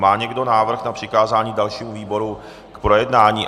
Má někdo návrh na přikázání dalšímu výboru k projednání?